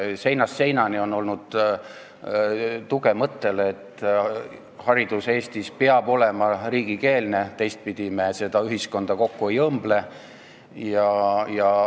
Seinast seina on tulnud tuge mõttele, et haridus Eestis peab olema riigikeelne, teistpidi me seda ühiskonda kokku ei õmble.